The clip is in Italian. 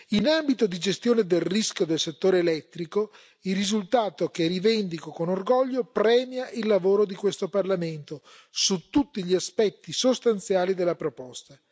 In ambito di gestione del rischio del settore elettrico, il risultato che rivendico con orgoglio premia il lavoro di questo Parlamento su tutti gli aspetti sostanziali della proposta.